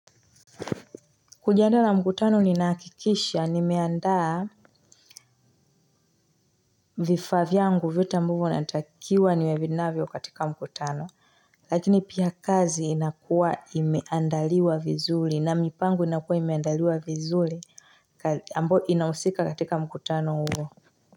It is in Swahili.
Kujiandaa na mkutano ninahakikisha nimeandaa, vifaa vyangu vyote ambavyo natakiwa niwe navyo katika mkutano. Lakini pia kazi inakuwa imeandaliwa vizuri, na mipango inakuwa imeandaliwa vizuri. Ambao inahusika katika mkutano huo.